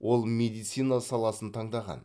ол медицина саласын таңдаған